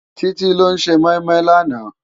Titi ló sé moimoi làná?